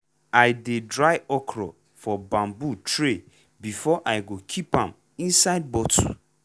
i dey dry okra for bamboo tray before i go keep am inside bottle.